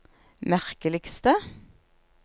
merkeligste